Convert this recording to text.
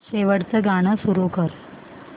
शेवटचं गाणं सुरू कर